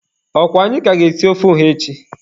Ọkwa anyị ka ga-esi ofe ọha echi?